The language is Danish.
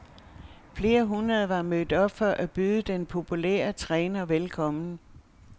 Flere hundrede var mødt op for at byde den populære træner velkommen.